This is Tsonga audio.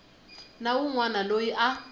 na wun wana loyi a